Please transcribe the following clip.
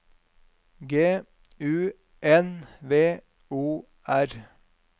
G U N V O R